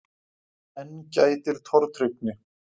Enn gætir tortryggni.